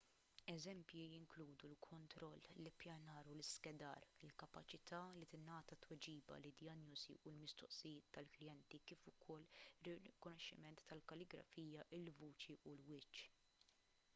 eżempji jinkludu l-kontroll l-ippjanar u l-iskedar il-kapaċità li tingħata tweġiba lid-dijanjosi u l-mistoqsijiet tal-klijenti kif ukoll ir-rikonoxximent tal-kalligrafija il-vuċi u l-wiċċ